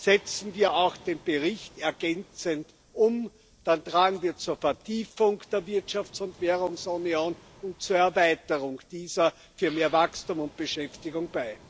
Setzen wir auch den Bericht ergänzend um, dann tragen wir zur Vertiefung der Wirtschafts und Währungsunion und zu ihrer Erweiterung für mehr Wachstum und Beschäftigung bei.